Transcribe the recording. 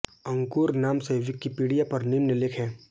अंकुर नाम से विकिपीडिया पर निम्न लेख हैं